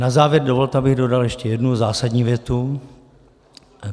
Na závěr dovolte, abych dodal ještě jednu zásadní větu.